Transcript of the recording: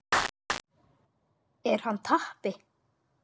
Er hann tappi?